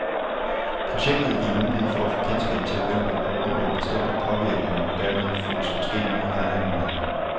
Projektet giver mulighed for at få kendskab til, hvem der bør undgå bestemte påvirkninger, og dermed fås måske nye handlemuligheder.